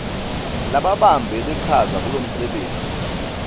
lababambe lichaza kulomsebenti